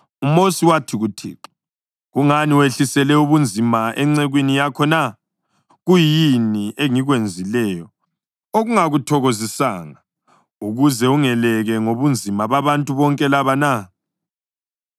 UMosi wathi kuThixo, “Kungani wehlisele ubunzima encekwini yakho na? Kuyini engikwenzileyo okungakuthokozisanga ukuze ungeleke ngobunzima babantu bonke laba na?